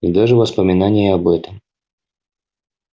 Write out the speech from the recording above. и даже воспоминание об этом